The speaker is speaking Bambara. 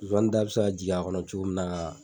Zonzanni da bi se jigin kɔnɔ cogo min na ka